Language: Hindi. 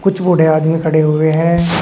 कुछ बूढ़े आदमी खड़े हुए हैं।